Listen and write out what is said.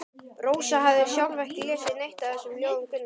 Rósa hafði sjálf ekki lesið neitt af þessum ljóðum Gunnars.